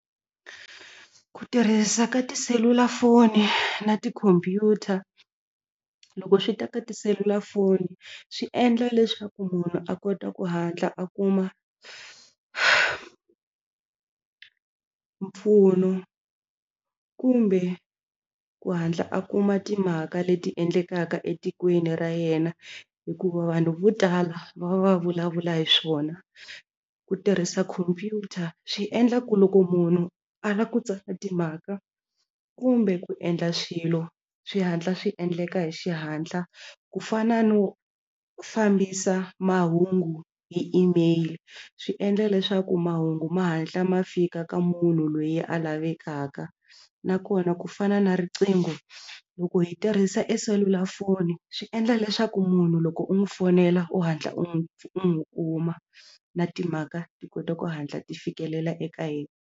Ku tirhisa ka tiselulafoni na tikhompyuta loko swi ta ka tiselulafoni swi endla leswaku munhu a kota ku hatla a kuma mpfuno kumbe ku hatla a kuma timhaka leti endlekaka etikweni ra yena hikuva vanhu vo tala va va vulavula hi swona ku tirhisa khompyuta swi endla ku loko munhu a lava ku tsala timhaka kumbe ku endla xilo swi hatla swi endleka hi xihatla ku fana no fambisa mahungu hi Email swi endla leswaku mahungu ma hatla ma fika ka munhu loyi a lavekaka nakona ku fana na riqingho loko hi tirhisa e selulafoni swi endla leswaku munhu loko u n'wi fonela u hatla u n'wi u n'wi u ma na timhaka ti kota ku hatla ti fikelela eka ye.